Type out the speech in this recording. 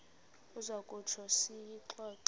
uza kutsho siyixoxe